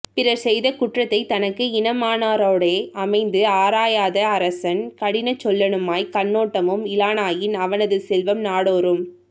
பிறர் செய்த குற்றத்தைத் தனக்கு இனமானாரோடே அமைந்து ஆராயாத அரசன் கடியசொல்லனுமாய்க் கண்ணோட்டமும் இலனாயின் அவனது செல்வம் நாடோறும்